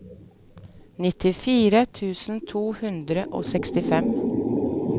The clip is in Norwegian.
nittifire tusen to hundre og sekstifem